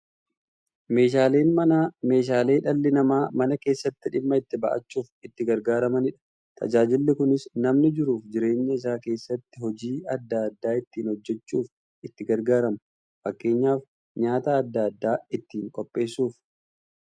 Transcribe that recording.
Meeshaaleen mana meeshaalee dhalli namaa mana keessatti dhimma itti ba'achuuf itti gargaaramaniidha. Tajaajilli kunis, namni jiruuf jireenya isaa keessatti hojii adda adda ittiin hojjachuuf itti gargaaramu. Fakkeenyaf, nyaata adda addaa ittiin qopheessuuf.